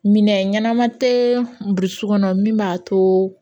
Minɛn ɲɛnama tɛ burusu kɔnɔ min b'a to